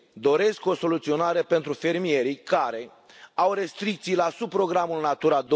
Doresc o soluționare pentru fermierii care au restricții la subprogramul Natura